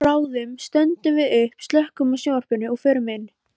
Bráðum stöndum við upp, slökkvum á sjónvarpinu og förum inn.